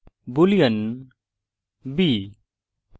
boolean b ;